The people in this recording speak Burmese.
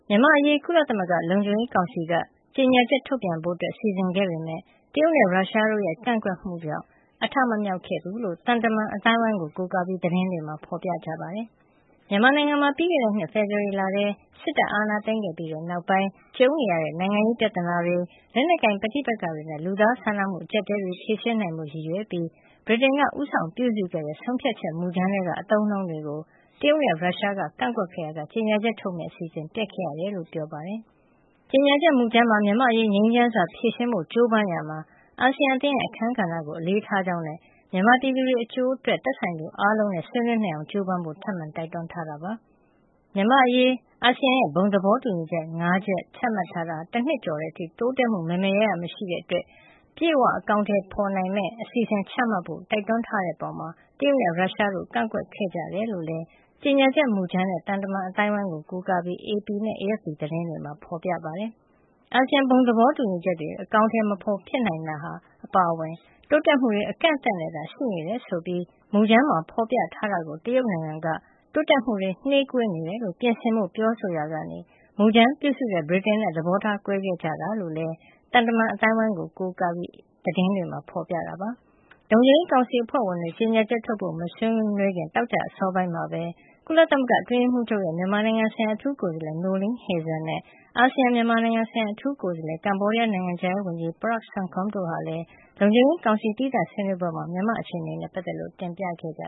မြန်မာ့အရေး ကုလသမဂ္ဂလုံခြုံရေးကောင်စီက ကြေညာချက်ထုတ်ပြန်ဖို့ စီစဉ်ခဲ့ပေမဲ့ တရုတ်နဲ့ ရုရှားတို့ရဲ့ ကန့်ကွက်မှုတွေကြောင့် အထမမြောက်ခဲ့ကြောင်း သံတမန်အသိုင်းအဝိုင်းကို ကိုးကားပြီး သတင်းတွေက ဖော်ပြကြပါတယ်။ မြန်မာနိုင်ငံမှာ ပြီးခဲ့တဲ့နှစ် ဖေဖော်ဝါရီလထဲ စစ်တပ်က အာဏာသိမ်းပြီးနောက်ပိုင်း ကြုံနေရတဲ့ နိုင်ငံရေးပြဿနာတွေ၊ လက်နက်ကိုင် ပဋိပက္ခတွေနဲ့ လူသားချင်းစာနာမှု အကျပ်အတည်းတွေကို ဖြေရှင်းနိုင်ဖို့ ရည်ရွယ်ပြီး ဗြိတိန်နိုင်ငံက ဦးဆောင်ပြုစုခဲ့တဲ့ ဆုံးဖြတ်ချက် မူကြမ်းထဲက အသုံးအနှုန်းတွေကို တရုတ်နဲ့ ရုရှားက ကန့်ကွက်ခဲ့ရာက ကြေညာချက်ထုတ်မယ့်အစီအစဉ် ပျက်ခဲ့ရတယ်လို့လည်း ဆိုပါတယ်။ ကြေညာချက်မူကြမ်းမှာ မြန်မာ့အရေး ငြိမ်းချမ်းစွာ ဖြေရှင်းဖို့ ကြိုးပမ်းရာမှာ အာဆီယံ အသင်းရဲ့ အခန်းကဏ္ဍကို အလေးထားကြောင်းနဲ့ မြန်မာပြည်သူတွေ အကျိုးစီးပွားအတွက် သက်ဆိုင်သူတွေအားလုံးနဲ့ ဆွေးနွေးနိုင်အောင် ကြိုးပမ်းဖို့လည်း ထပ်မံတိုက်တွန်းထားတာပါ။ တချိန်တည်းမှာပဲ မြန်မာ့အရေး အရှေ့တောင်အာရှ နိုင်ငံများအသင်း အာဆီယံရဲ့ ဘုံသဘောတူညီချက် ၅ ရပ် ချမှတ်ထားတာ ၁ နှစ်ကျော်လာတဲ့အထိ တိုးတက်မှု မယ်မယ်ရရ မတွေ့ရတာကြောင့် ထိထိရောက်ရောက်နဲ့ အပြည့်အ၀ အကောင်အထည် ဖော်နိုင်မယ့် ခိုင်မာတဲ့ အစီအစဉ်တွေ ချမှတ်ဖို့လည်း တိုက်တွန်းထားတဲ့အပေါ် တရုတ်နဲ့ ရုရှားတို့က ကန့်ကွက်ခဲ့ကြတယ်လို့လည်း ကြေညာချက်မူကြမ်းနဲ့ သံတမန်အသိုင်းအဝိုင်းကို ကိုးကားပြီး AP နဲ့ AFP သတင်းတွေက ဖော်ပြပါတယ်။ အာဆီယံ ဘုံသဘောတူညီချက်တွေ အကောင်အထည် မဖော်နိုင်ပဲ ဖြစ်နေရတာ အပါအဝင် တိုးတက်မှုတွေ အကန့်အသတ်နဲ့သာ ရှိနေတယ်ဆိုပြီး မူကြမ်းမှာ ဖော်ပြထားတာကို တရုတ်နိုင်ငံက တိုးတက်မှုတွေ နှေးကွေးနေတယ်လို့ ပြင်ဆင်ဖို့ ပြောဆိုရာက မူကြမ်းပြုစုတဲ့ ဗြိတိန်နဲ့ သဘောထားကွဲခဲ့ကြတာလို့လည်း ကြေညာချက်မူကြမ်းနဲ့ သံတမန်အသိုင်းအဝိုင်းကို ကိုးကားပြီး AP နဲ့ AFP သတင်းတွေက ဖော်ပြခဲ့ကြတာပါ။ လုံခြုံရေးကောင်စီအဖွဲ့ဝင်တွေ ကြေညာချက်ထုတ်ဖို့ မဆွေးနွေးခင် သောကြာနေ့ အစောပိုင်းမှာပဲ ကုလသမဂ္ဂ ကုလအတွင်းရေးမှူးချုပ်ရဲ့ မြန်မာနိုင်ငံဆိုင်ရာ အထူးကိုယ်စားလှယ် Noeleen Heyzer နဲ့ အာဆီယံရဲ့ မြန်မာနိုင်ငံဆိုင်ရာ အထူးကိုယ်စားလှယ် ကမ္ဘောဒီးယားနိုင်ငံခြားရေးဝန်ကြီး Prak Sokhonn တို့ဟာလည်း လုံခြုံရေးကောင်စီ သီးသန့်ဆွေးနွေးပွဲမှာ မြန်မာနိုင်ငံအခြေအနေနဲ့ ပတ်သက်လို့ တင်ပြခဲ့ကြ